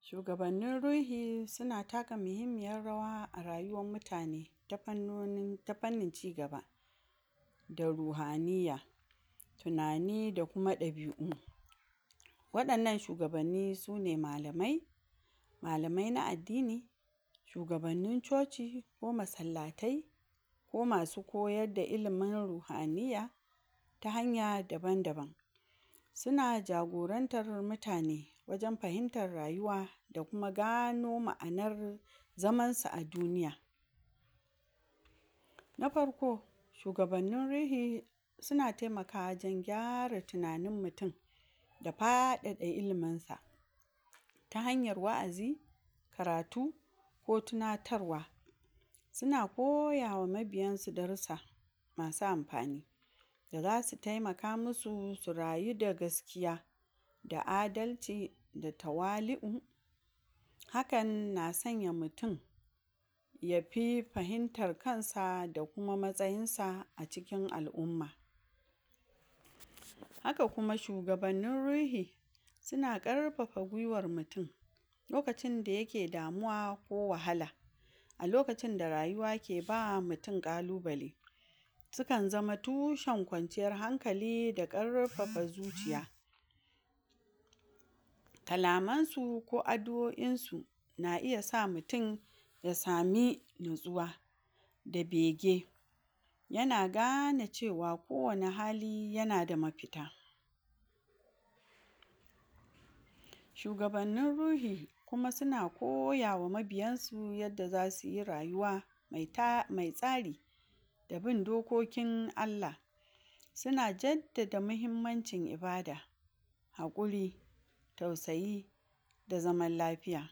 shugabannin ruhi suna taka muhimmiyar rawa a rayuwar mutane ta fannoni ta fannin cigaba da ruhaniya tunani da kuma dabi'u wadannan shugabanni sune malamai malamai na addini shugabannin chociko masallatai ko masu koyuar da ilimin ruhaya ta hanya daban daban suna jagorantar mutane wajen fahimtar rayuwa da kuma gano ma'anar zaman su a duniya na farko shhugabannin ruhi suna taimakawa wajen gyara tunanin mutum da fadada ilimin sa ta hanyar wa'azi karatu ko tunatarwa suna koyawa mabiyansu darussa da zasu taimaka masu su rayu da gasakiya da adalci da tawali'u hakan na sanya mutum yafi fahimtar sa da kuma matsayin sa a cikin al'umma haka kuma shugabannin ruhi suna karfafa gwiwar mutum lokacin da yake damuwa ko wahala a lokacin da rayuwa ke ba mutum kalubale sukan zama tushen kwanciyar hankalida karfafa zuciya kalaman su ko addu'oin su na iya sa mutum ya sami natsuwa da bege yana gane cewa kowane hali yana da mafita shugabannin ruhi kuma suna koya ma mabiyan su yadda zasuyi rayuwa me tsari da bin dokokin ALLAH suna jadda muhummancin ibada hakuri tausayi da zaman lafiya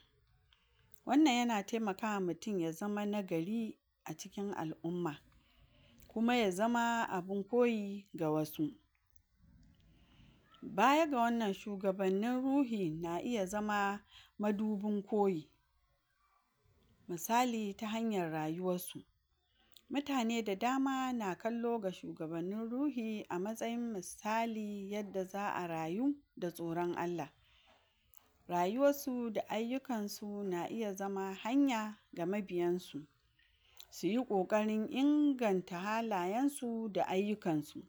wannann yana taimaka ma mutum ya zama na gari a cikin al'umma kuma ya zama abin koyi ga wasu bayaga wannan shuga bannin ruhi na iya iya zama madubin koyi misali ta hanyar rayuwar su mutane da dama na kallo ga shugabannin ruhi a matsayin misali yadda za'a rayu da tsoron allah rayuwar su da ayunkan su na iya zama hanya ga mabiyan su suyi kokarin inganta halayen su da ayukansu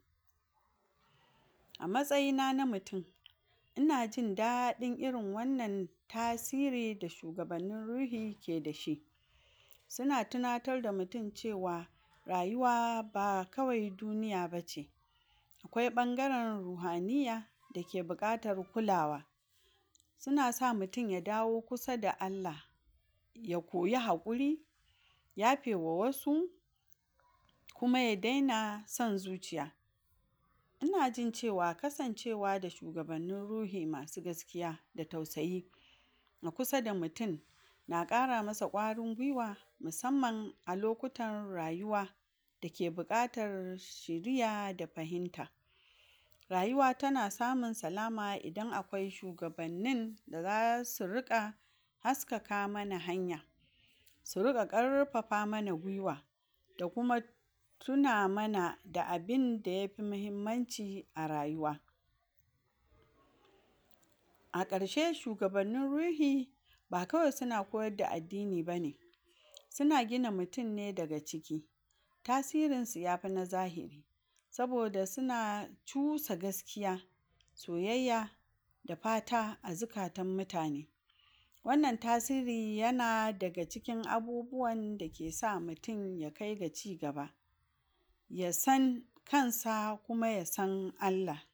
a matsayi na mutum ina jin dadin irin wannan tasiri da shugabannin ruhi keda shi suna tunatar da mutum cewa rayuwa ba kawai duniya bace akwai bangaren ruhaniya dake bukatar kulawa suna sa mutum ya dawo kusa da allah ya koyi hakuri yafewa wasu kuma ya dena son zuciya inajin cewa kasancewa da shugabannin ruhi masu gaskiya da tausayi kusa da mutum na kara masa kwarin gwiwa musamman a lokutan rayuwa dake bukatar shiriya da fahimta rayuwa tana samun salama idan akwai shugabannin da zasu rika haskaka mana hanya su rika karfafa mana gwiwa da kuma tuna mana da abinda yafi muhimmanci a rayuwa a karshe shugabannin ruhi ba kawai suna koyar da addini bane suna gina mutum ne daga ciki tasirin su yafi na zahiri saboda suna cusa gaskiya soyayya da fata a zukatan mutane wannan tasiri yana daga cikin abubuwan dake sa mutum ya kaiga ci gaba yasan kansa kuma yasan ALLAH